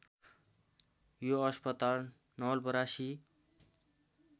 यो अस्पताल नवलपरासी